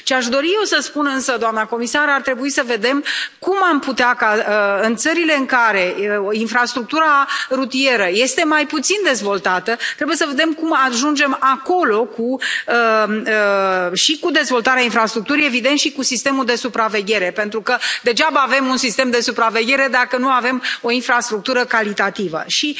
Ce aș dori eu să spun însă, doamnă comisar, este că ar trebui să vedem cum am putea ca, în țările în care infrastructura rutieră este mai puțin dezvoltată, să ajungem acolo și cu dezvoltarea infrastructurii, evident, și cu sistemul de supraveghere, pentru că degeaba avem un sistem de supraveghere dacă nu avem o infrastructură de calitate, și